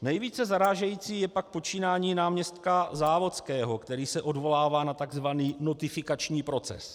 Nejvíce zarážející je pak počínání náměstka Závodského, který se odvolává na tzv. notifikační proces.